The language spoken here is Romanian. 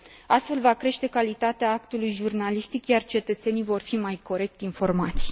Astfel va crește calitatea actului jurnalistic, iar cetățenii vor fi mai corect informați.